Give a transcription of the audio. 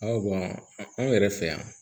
anw yɛrɛ fɛ yan